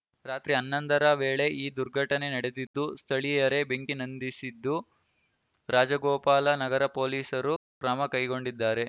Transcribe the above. ರಾತ್ರಿ ಹನ್ನೊಂದರ ವೇಳೆ ಈ ದುರ್ಘಟನೆ ನಡೆದಿದ್ದು ಸ್ಥಳೀಯರೇ ಬೆಂಕಿ ನಂದಿಸಿದ್ದು ರಾಜಗೋಪಾಲ ನಗರ ಪೊಲೀಸರು ಕ್ರಮ ಕೈಗೊಂಡಿದ್ದಾರೆ